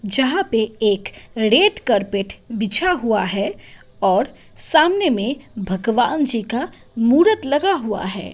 जहां पे एक रेट कारपेट बिछा हुआ है और सामने में भगवान जी का मूरत लगा हुआ है।